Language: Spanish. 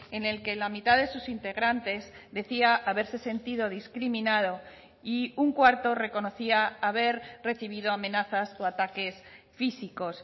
en el que la mitad de sus integrantes decía haberse sentido discriminado y un cuarto reconocía haber recibido amenazas o ataques físicos